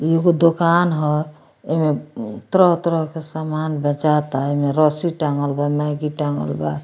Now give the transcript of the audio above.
इ एगो दुकान ह एमें तरह-तरह के समान बेचाता एमे रस्सी टांगल बा मैगी टांगल बा।